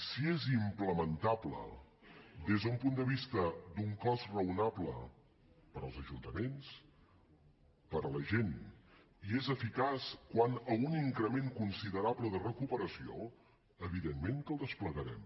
si és implementable des d’un punt de vista d’un cost raonable per als ajuntaments per a la gent i és eficaç quant a un increment considerable de recuperació evidentment que el desplegarem